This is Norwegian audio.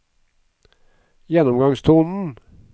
gjennomgangstonen